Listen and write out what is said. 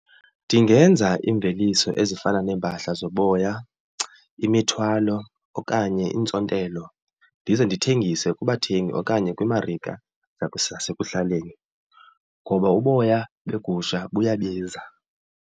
Ndingenza iimveliso ezifana neempahla zoboya, imithwalo okanye iintsontelo. Ndize ndithengise kubathengi okanye kwiimarika zasekuhlaleni ngoba uboya begusha buyabiza.